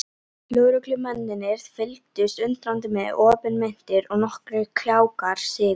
Lögreglumennirnir fylgdust undrandi með, opinmynntir og nokkrir kjálkar sigu.